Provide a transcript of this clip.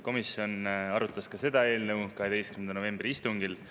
Komisjon arutas ka seda eelnõu 12. novembri istungil.